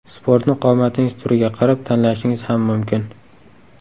Sportni qomatingiz turiga qarab tanlashingiz ham mumkin.